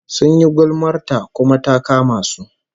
Sun yi gulmar ta, kuma ta kama su